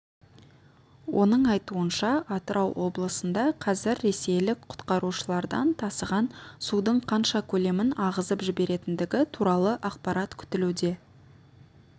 оның айтуынша атырау облысында қазір ресейлік құтқарушылардан тасыған судың қанша көлемін ағызып жіберетіндігі туралы ақпарат күтілуде